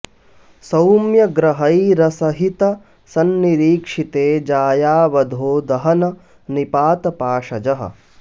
सौम्य ग्रहैरसहित संनिरीक्षिते जाया वधो दहन निपात पाशजः